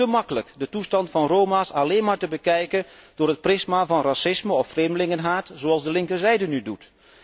Het is te makkelijk de toestand van Roma's alleen maar te bekijken door het prisma van racisme of vreemdelingenhaat, zoals de linkerzijde nu doet.